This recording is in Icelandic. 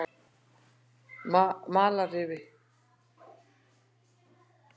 Malarrifi